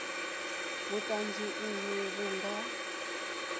vhuṱanzi uvho vhu nga vha